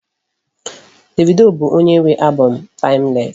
Davido bụ onye nwe album m Timeless.